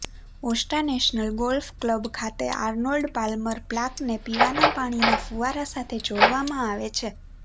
ઑર્સ્ટા National Golf Club ખાતે Arnold Palmer પ્લાકને પીવાના પાણીના ફુવારા સાથે જોડવામાં આવે છે